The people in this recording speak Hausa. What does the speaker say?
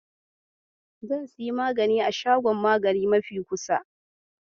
Zan sayi magani a shagon magani mafi kusa.